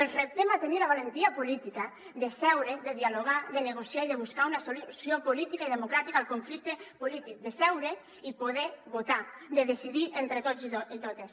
els reptem a tenir la valentia política de seure de dialogar de negociar i de buscar una solució política i democràtica al conflicte polític de seure i poder votar de decidir entre tots i totes